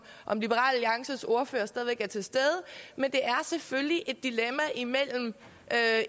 liberal alliances ordfører stadig væk er til stede men det er selvfølgelig et dilemma mellem